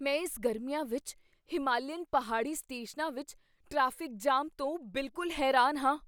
ਮੈਂ ਇਸ ਗਰਮੀਆਂ ਵਿੱਚ ਹਿਮਾਲੀਅਨ ਪਹਾੜੀ ਸਟੇਸ਼ਨਾਂ ਵਿੱਚ ਟ੍ਰੈਫਿਕ ਜਾਮ ਤੋਂ ਬਿਲਕੁਲ ਹੈਰਾਨ ਹਾਂ!